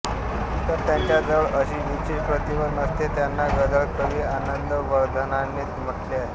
तर त्यांच्या जवळ अशी विशेष प्रतिभा नसते त्यांना गदळ कवी आनंदवर्धंनाने म्हटले आहे